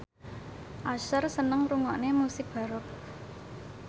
Usher seneng ngrungokne musik baroque